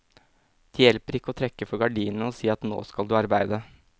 Det hjelper ikke å trekke for gardinene og si at nå skal du arbeide.